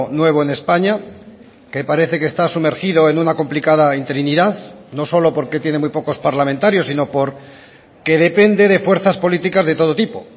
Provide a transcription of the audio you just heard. nuevo en españa que parece que está sumergido en una complicada interinidad no solo porque tiene muy pocos parlamentarios sino porque depende de fuerzas políticas de todo tipo